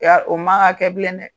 o man kan ka kɛ bilen dɛ.